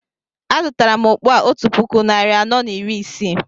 A zụtara m okpu a otu puku narị anọ na iri isii